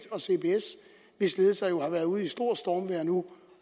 og cbs hvis ledelser jo har været ude i stort stormvejr nu